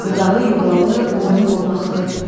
Budağı yuvalı, qoynu qonaqlı.